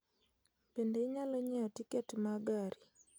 Bende inyalo nyiewo tiket ma gari